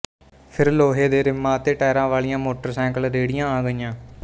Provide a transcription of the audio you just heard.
ਫਿਰ ਲੋੋੋਹੇ ਦੇ ਰਿੰੰਮਾਂਂ ਅਤੇ ਟਾਇਰਾ ਵਾਲੀਆਂ ਮੋੋੋਟਰਸਾਈਕਲ ਰੇੇੇੜੀਆਂਂ ਆ ਗਈਆਂ